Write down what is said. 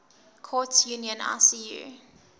courts union icu